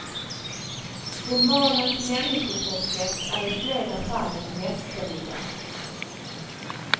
Romanens människoporträtt är i flera fall mästerliga.